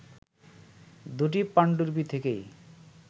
দুটি পাণ্ডুলিপি থেকেই